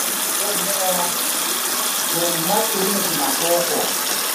Muzvibhedhlera nemumakirinika madoko